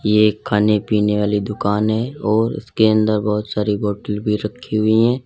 ये एक खाने पीने वाली दुकान है और उसके अंदर बहुत सारी बोतल भी रखी हुई हैं।